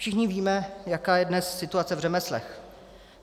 Všichni víme, jaká je dnes situace v řemeslech.